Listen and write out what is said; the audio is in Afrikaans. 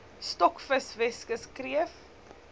stokvis weskus kreef